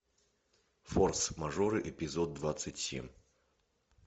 форс мажоры эпизод двадцать семь